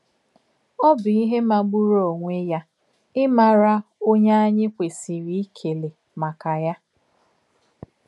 Ọ̀ bụ̀ ìhè màgbùrù onwé yà ímàrā ọ̀nyé ányị̀ kwèsìrì íkèlè m̀ákà yà.